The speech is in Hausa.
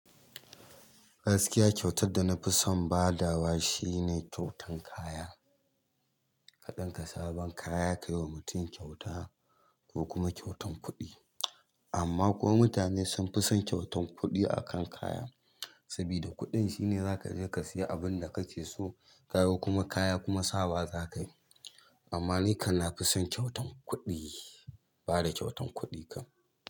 Gaskiya kyautar da na fi son ba da wa shine kyautan kaya. Ka ɗinka sabon kaya ka yi wa mutum kyauta ko kuma kyautan kuɗi. Amma kuwa mutane sun fi son kyautan kuɗi akan kaya. Saboda kuɗin shine za ka je ka siya abin da kake so kaga kuma kaya kuma sawa za ka yi. Amma ni kana fi son kyautan kuɗi, bada kyautan kuɗi kam.